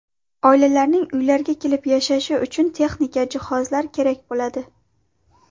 Oilalarning uylarga kelib yashashi uchun texnika, jihozlar kerak bo‘ladi.